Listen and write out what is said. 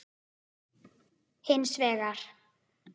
Hins vegar